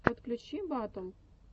подключи батл